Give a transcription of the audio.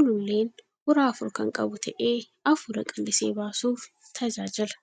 Ululleen uraa afur kan qabu ta'ee afuura qallisee baasuuf tajaajila.